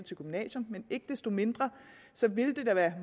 til gymnasium men ikke desto mindre vil det